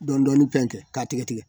Dɔɔni dɔɔnin bɛ kɛ k'a tɛgɛtigɛ.